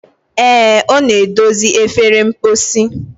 Ee, ọ na-edozi efere mposi.